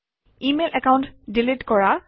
email account delete কৰা